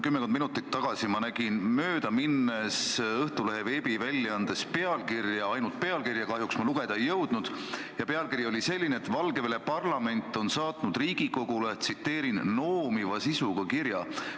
Kümmekond minutit tagasi nägin ma Õhtulehe veebiväljaandes pealkirja – ainult pealkirja, kahjuks ma artiklit lugeda ei jõudnud –, mis teatas, et Valgevene parlament on saatnud Riigikogule "noomiva sisuga kirja".